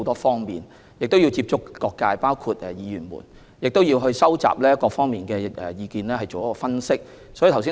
他們要接觸各界人士，包括議員，以收集各方意見並進行分析。